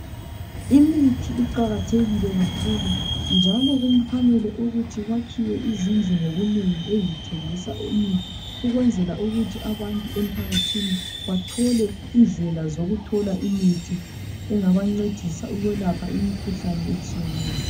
Imithi iqakathekile kakhulu njalo kufanele kuyakhiwe izindlu ngobunengi ezithengisa imithi ukwenzela abantu emphakathini bathole indlela zokuthola imithi engabancedisa ukwelapha imikhuhlane etshiyeneyo